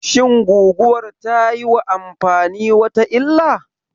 Shin guguwar tayiwa amfani wata illah?